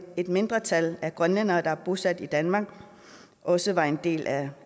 et mindretal af grønlændere der er bosat i danmark også var en del af